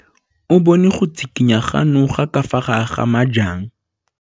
O bone go tshikinya ga noga ka fa gare ga majang.